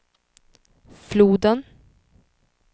floden